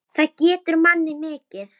Það gefur manni mikið.